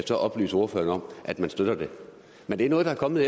så oplyse ordføreren om at man støtter det men det er noget der er kommet